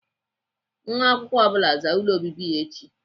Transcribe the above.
Nwa akwụkwọ ọ bụla zaa ụlọ obibi ya echi!